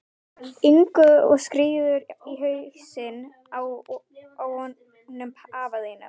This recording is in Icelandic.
Ingu og skírður í hausinn á honum afa þínum.